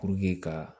Puruke ka